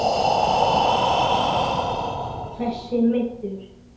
Hversu meiddur?